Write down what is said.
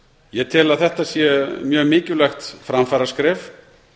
ég tel að þetta sé mjög mikilvægt framfaraskref